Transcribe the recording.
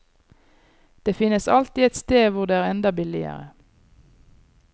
Det finnes alltid et sted hvor det er enda billigere.